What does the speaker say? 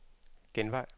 genvej